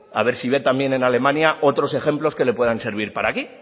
a ver si ve también en alemania otros ejemplos que le puedan servir para aquí